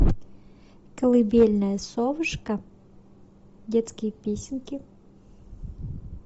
колыбельная совушка детские песенки